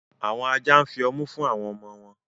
Awọn ajá nfí ọmù fún awọn ọmọ wọn.